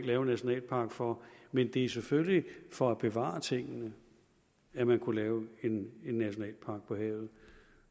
lave en nationalpark for men det er selvfølgelig for at bevare tingene at man kunne lave en nationalpark på havet